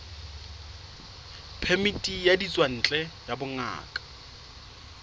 phemiti ya ditswantle ya bongaka